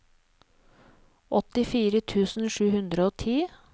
åttifire tusen sju hundre og ti